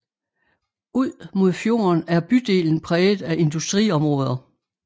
Ud mod fjorden er bydelen præget af industriområder